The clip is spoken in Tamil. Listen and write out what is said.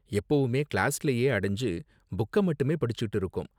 எப்போவுமே கிளாஸ்லேயே அடைஞ்சு புக்க மட்டுமே படிச்சுட்டு இருக்கோம்.